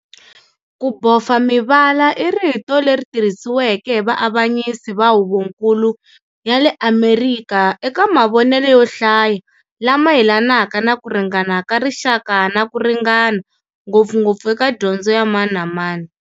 Ku bofa mivala i rito leri tirhisiweke hi vaavanyisi va huvonkulu ya le Amerika eka mavonelo yo hlaya lama yelanaka na ku ringana ka rixaka na ku ringana, ngopfungopfu eka dyondzo ya mani na mani.